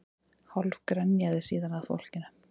Hálf grenjaði síðan að fólkinu